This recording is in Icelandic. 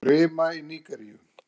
Rima í Nígeríu